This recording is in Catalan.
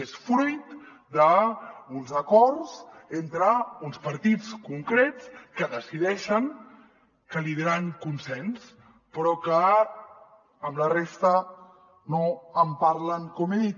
és fruit d’uns acords entre uns partits concrets que decideixen que li diran consens però que amb la resta no en parlen com he dit